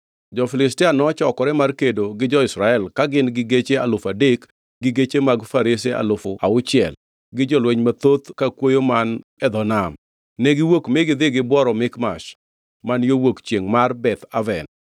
Jo-Filistia nochokore mar kedo gi jo-Israel, ka gin gi geche alufu adek, gi geche mag farese alufu auchiel, gi jolweny mathoth ka kwoyo man e dho nam. Negiwuok mi gidhi gibworo Mikmash man yo wuok chiengʼ mar Beth Aven.